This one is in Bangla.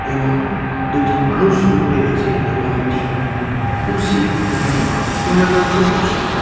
এবং দুটি মানুষ উপরে আছে এবং একটি কুরসি যেখানে কইন্যা পাত্র বসে.